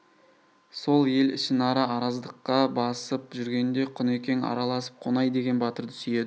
сол ел ішінара араздыққа басып жүргенде құнекең араласып қонай деген батырды сүйейді